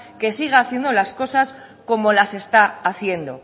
que sigue haciendo las cosas como las está haciendo